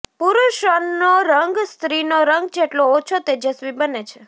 પુરૂષનો રંગ સ્ત્રીનો રંગ જેટલો ઓછો તેજસ્વી બને છે